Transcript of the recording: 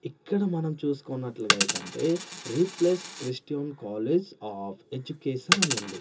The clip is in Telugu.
ఇక్కడ మనం చూసుకున్నట్లుగా అయితా అంటే replace Christian college of education అనుంది.